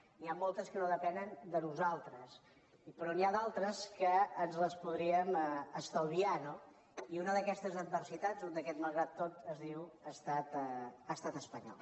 n’hi ha moltes que no depenen de nosaltres però n’hi ha d’altres que ens les podríem estalviar no i una d’aquestes adversitats un d’aquests malgrat tot es diu estat espanyol